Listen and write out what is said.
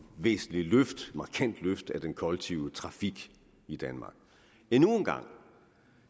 væsentligt løft af den kollektive trafik i danmark